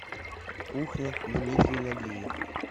кухня дмитрий нагиев